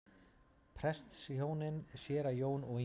Prestshjónin séra Jón og Ingibjörg